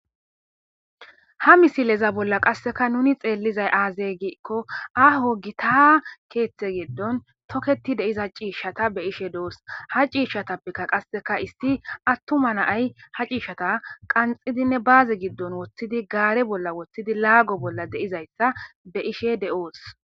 ha misileza bolla qasseka nuni xeellizay aazay giikko aho gitah keeththe geddon tokketi deiza ciishshata be ishe deos ha ciishshatappekka qasseka isti attuma naay ha ciishata qanxidinne baazi giddon woththidi gaare bolla woththidi laago bolla deizayssa be ishe de7oos